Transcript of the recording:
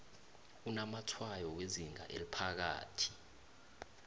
onamatshwayo wezinga eliphakathi